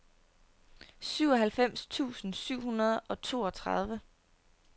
syvoghalvfems tusind syv hundrede og toogtredive